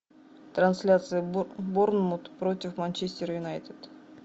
трансляция борнмут против манчестер юнайтед